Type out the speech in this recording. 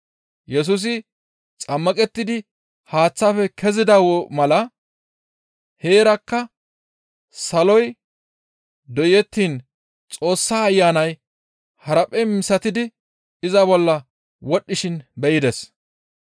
Yesusi xammaqettidi haaththaafe kezida mala heerakka saloy doyettiin Xoossa Ayanay haraphphe misatidi iza bolla wodhdhishin be7ides.